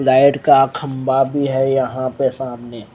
Light का खम्बा भी है यहाँ पे सामने।